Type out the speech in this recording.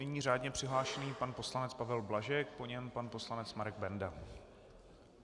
Nyní řádně přihlášený pan poslanec Pavel Blažek, po něm pan poslanec Marek Benda.